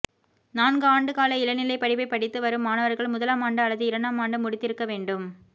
நான்கு ஆண்டு கால இளநிலை படிப்பை படித்து வரும் மாணவர்கள் முதலாமாண்டு அல்லது இரண்டாமாண்டு முடித்திருக்க வேண்டும்